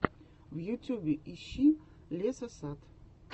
в ютюбе ищи лесосад